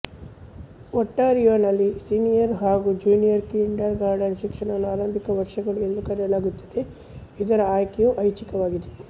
ಒಂಟಾರಿಯೋನಲ್ಲಿ senior ಹಾಗು junior kindergarten ಶಿಕ್ಷಣವನ್ನು ಆರಂಭಿಕ ವರ್ಷಗಳು ಎಂದು ಕರೆಯಲಾಗುತ್ತದೆ ಇದರ ಆಯ್ಕೆಯು ಐಚ್ಚಿಕವಾಗಿದೆ